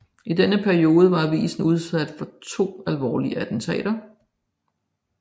I denne periode var avisen udsat for to alvorlige attentater